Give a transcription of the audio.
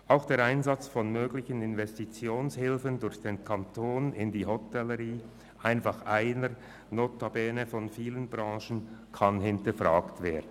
Auch der Einsatz von möglichen Investitionshilfen durch den Kanton in die Hotellerie als notabene eine von vielen Branchen kann hinterfragt werden.